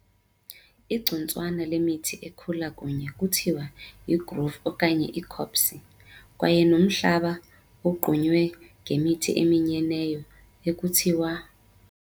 Igcuntswana lemithi ekhula kunye kuthiwa yigrove okanye icopse, kwaye nomhlaba owogqunywe ngemithi eminyeneyo ekuthiwa ].